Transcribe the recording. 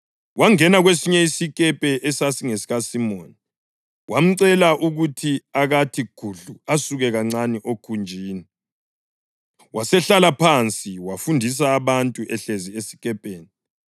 Wangena kwesinye isikepe esasingesikaSimoni, wamcela ukuthi akathi gudlu asuke kancane okhunjini. Wasehlala phansi wafundisa abantu ehlezi esikepeni.